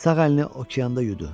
Sağ əlini okeanda yudu.